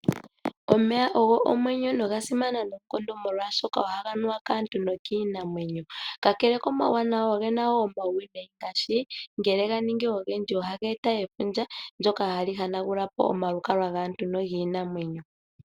Omeya ogo omwenyo noga simana noonkondo molwaashoka ohaga nuwa kaantu nokiinamwenyo. Kakele komauwanawa, oge na woo omauwinayi ngaashi ngele ga ningi ogendji ohaga eta efundja ndyoka hali hanagula po omalukalwa gaantu nogiinamwenyo.